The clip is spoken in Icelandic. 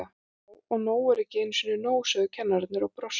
Já og nóg er ekki einu sinni nóg, sögðu kennararnir og brostu.